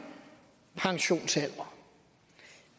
pensionsalder